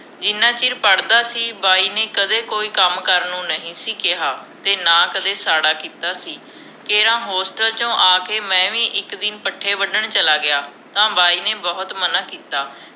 ਜਿਨ੍ਹਾਂ ਚਿਰ ਪੜ੍ਹਦਾ ਸੀ ਬਾਈ ਨੇ ਕਦੇ ਕੋਈ ਕੰਮ ਕਰਨ ਨੂੰ ਨਹੀਂ ਸੀ ਕਿਹਾ ਤੇ ਨਾ ਕਦੇ ਸਾੜ੍ਹਾ ਕੀਤਾ ਸੀ ਤੇ ਹਾਂ ਹੋਸਟਲ ਚੋ ਆਕੇ ਮੈਂ ਵੀ ਇਕ ਦਿਨ ਪੱਠੇ ਵਢਣ ਚਲਾ ਗਿਆ ਤਾਂ ਬਾਈ ਨੇ ਬਹੁਤ ਮਨ੍ਹਾ ਕੀਤਾ